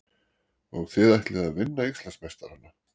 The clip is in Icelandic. Og þið ætlið að vinna Íslandsmeistarana?